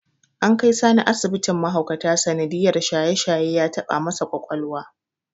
An kai Sani asibitin mahaukata sanadiyyar shaye-shaye ya taɓa masa ƙwaƙwalwa.